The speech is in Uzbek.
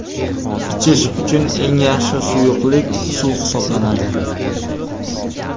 Ichish uchun eng yaxshi suyuqlik suv hisoblanadi.